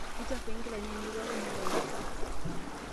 Keichafui nkilani ainei pooki maata naishop.